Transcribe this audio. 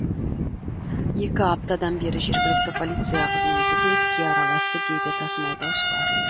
екі аптадан бері жергілікті полиция қызметі де іске араласты дейді тасымалдаушылар